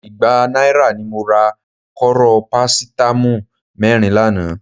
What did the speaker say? Igba náírà ni mo ra kóró parasítámọ̀ mẹ́rin lánàá